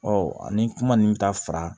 ani kuma nin bɛ taa fara